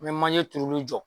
N mɛ manje turuli jɔ.